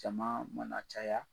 Jamaa mana caya